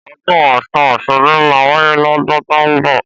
Ọ̀dún ọsún osogbo mà wàyé lọ̀dún tọ mbọ